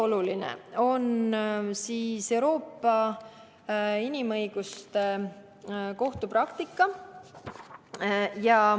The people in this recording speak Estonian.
Oluline on Euroopa Inimõiguste Kohtu praktika.